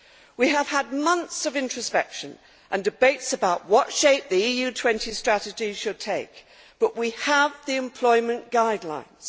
We have had months of introspection and debates about what shape the Europe 2020 Strategy should take, but we have the Employment Guidelines.